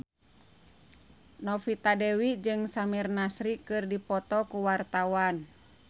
Novita Dewi jeung Samir Nasri keur dipoto ku wartawan